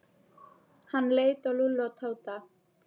Hann leit á Lúlla og Tóta.